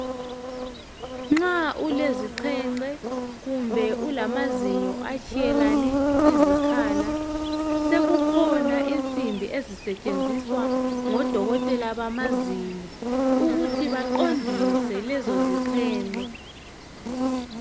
nxa ulezixhenxe kumbe ulamazinyo atshiyelane izikhala sekukhona insimbi ezisetshenziswa ngodokotela bamazinyo ukuthi baqondise lezo zixhenxe